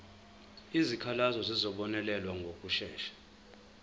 izikhalazo zizobonelelwa ngokushesha